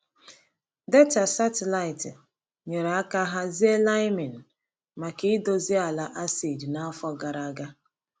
Data satịlaịtị nyere aka hazie liming maka idozi ala acid n’afọ gara aga.